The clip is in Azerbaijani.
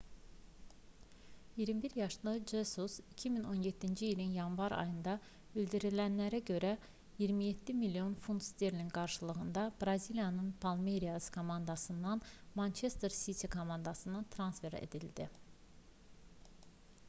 21 yaşlı jesus 2017-ci ilin yanvar ayında bildirilənlərə görə 27 milyon funt sterlinq qarşılığında braziliyanın palmeiras komandasından manchester city komandasına transfer edildi